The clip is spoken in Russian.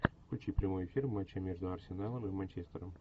включи прямой эфир матча между арсеналом и манчестером